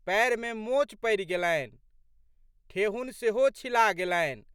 पएरमे मोच पड़ि गेलनि। ठेहुन सेहो छिला गेलनि।